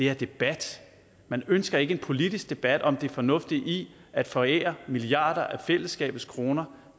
er debat man ønsker ikke en politisk debat om det fornuftige i at forære milliarder af fællesskabets kroner